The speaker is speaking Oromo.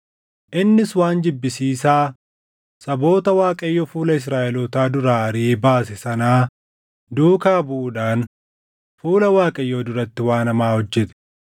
Innis waan jibbisiisaa saboota Waaqayyo fuula Israaʼelootaa duraa ariʼee baase sanaa duukaa buʼuudhaan fuula Waaqayyoo duratti waan hamaa hojjete.